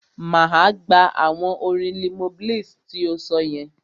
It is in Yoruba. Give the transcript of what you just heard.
Máa gbà awọn orin Limoblaze ti o sọ yẹn.